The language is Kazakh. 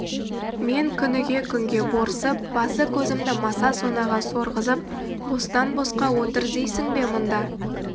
мен күніге күнге борсып басы-көзімді маса-сонаға сорғызып бостан-босқа отыр дейсің бе мұнда